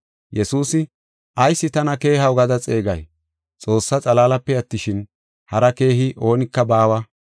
Yesuusi, “Ayis tana keehaw gada xeegay? Xoossaa xalaalape attishin, hari keehi oonika baawa.